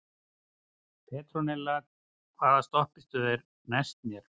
Petrónella, hvaða stoppistöð er næst mér?